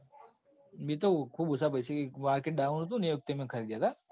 મેં તો ખુબ ઓછા પેસે market down હતું ન એ વખતે મેં ખરીદ્યા હતા.